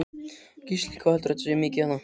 Gísli: Hvað heldurðu að þetta sé mikið þarna?